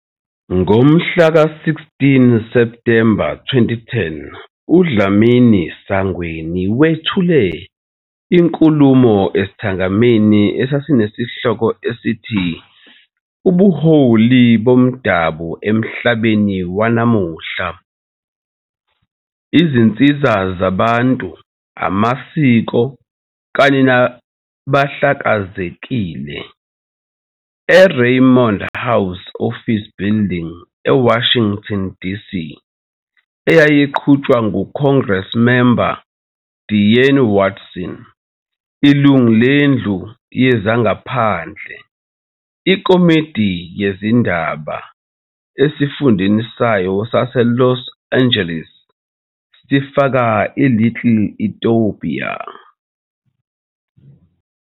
Ngomhlaka 16 Septhemba 2010 uDlamini-Sangweni wethule inkulumo esithangamini esasinesihloko esithi " Ubuholi Bomdabu Emhlabeni Wanamuhla - Izinsiza Zabantu, Amasiko kanye Nabahlakazekile" eRayburn House Office Building eWashington, DC eyayiqhutshwa nguCongressmember Diane Watson, ilungu leNdlu Yezangaphandle IKomiti Yezindaba, esifundeni sayo saseLos Angeles sifaka iLittle Ethiopia.